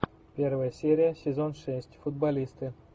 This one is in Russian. первая серия сезон шесть футболисты